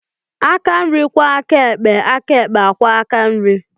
Aka nri kwoo aka ekpe, aka ekpe akwoo aka nri.